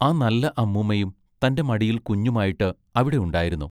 ആ നല്ല അമ്മൂമ്മയും തന്റെ മടിയിൽ കുഞ്ഞുമായിട്ട് അവിടെ ഉണ്ടായിരുന്നു.